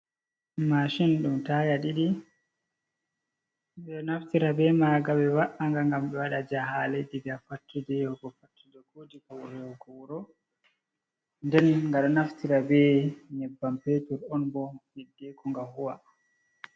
Mashin ɗum taya ɗiɗi, ɓe ɗo naftira be maaga ɓe wa'a nga ngam ɓe waɗa jahale daga fattude yahugo fattude, ko daga wuro yahugo wuro nden ga ɗo naftira be nyebbam petur on ɓo hiddeku nga huwa.